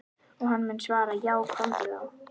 Og hann mun svara:- Já komdu þá.